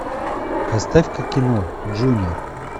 поставь ка кино джуниор